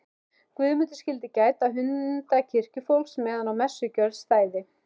Guðmundur skyldu gæta hunda kirkjufólks meðan á messugjörð stæði.